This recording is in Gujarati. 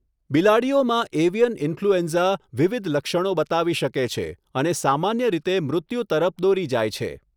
બિલાડીઓમાં એવિયન ઈન્ફલ્યુએન્ઝા વિવિધ લક્ષણો બતાવી શકે છે અને સામાન્ય રીતે મૃત્યુ તરફ દોરી જાય છે.